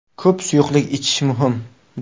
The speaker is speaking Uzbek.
Ko‘p suyuqlik ichish muhim.